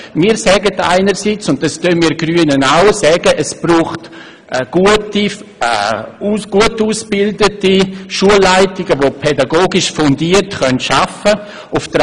Wir sagen einerseits, es brauche eine gut ausgebildete Schulleitung, die pädagogisch fundiert arbeiten kann.